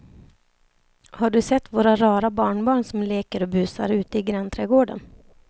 Har du sett våra rara barnbarn som leker och busar ute i grannträdgården!